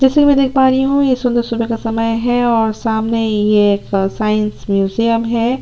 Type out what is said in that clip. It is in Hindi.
जैसे की मैं देख पा रही हूँ ये सुन्दर सुबह का समय है और सामने ये एक साइंस म्यूजियम है।